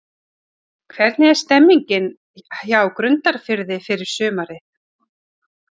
Hvernig er stemningin hjá Grundarfirði fyrir sumarið?